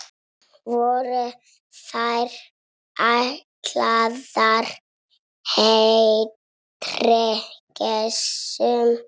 Voru þær ætlaðar heldri gestum.